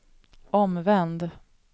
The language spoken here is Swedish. omvänd